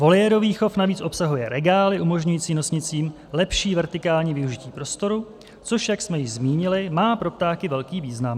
Voliérový chov navíc obsahuje regály umožňující nosnicím lepší vertikální využití prostoru, což, jak jsme již zmínili, má pro ptáky velký význam.